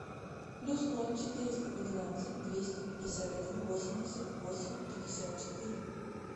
плюс ноль четыреста двенадцать двести пятьдесят один восемьдесят восемь пятьдесят четыре